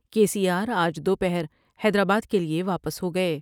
کے C R آج دو پہر حیدرآباد کے لئے واپس ہو گئے ۔